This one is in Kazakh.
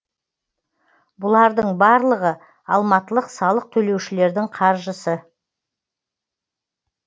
бұлардың барлығы алматылық салық төлеушілердің қаржысы